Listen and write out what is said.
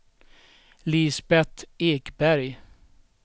Lisbeth Ekberg